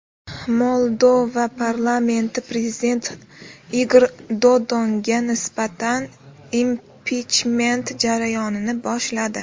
Moldova parlamenti prezident Igor Dodonga nisbatan impichment jarayonini boshladi.